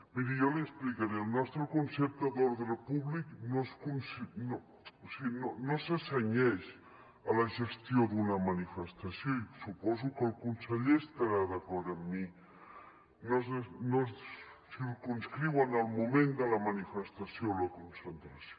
miri jo li explicaré el nostre concepte d’ordre públic no se cenyeix a la gestió d’una manifestació i suposo que el conseller estarà d’acord amb mi no es circumscriu al moment de la manifestació o la concentració